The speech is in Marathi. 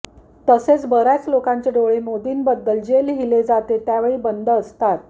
तसे बर्याच लोकान्चे डोळे मोदीन्बद्धल जे लिहिले जाते त्यावेळी बन्द असतात